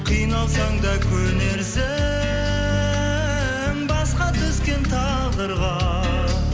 қиналсаң да көнерсің басқа түскен тағдырға